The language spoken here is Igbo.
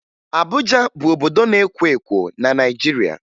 Abuja bụ obodo na-ekwo ekwo na Naịjirịa